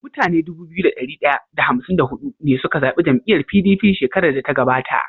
Mutane Dubu biyu da dari daya da hamsin da hudu ne suka zabi jam'iyar PDP shkerar da ta gabata